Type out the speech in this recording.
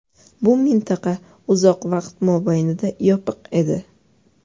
Bu mintaqa uzoq vaqt mobaynida yopiq edi.